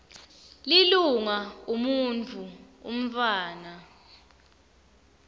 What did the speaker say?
lilunga umuntfu umntfwana